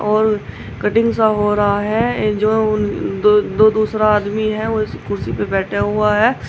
और कटिंग सा हो रहा है जो दो दु दूसरा आदमी है वो कुर्सी पर बैठा हुआ है।